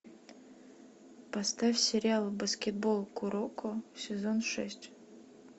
поставь сериал баскетбол куроко сезон шесть